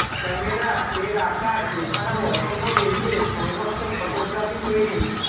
camera এর আকার এছাড়াও অসম্ভব এগিয়ে সংঘর্ষ ফোটোগ্রাফি তৈরি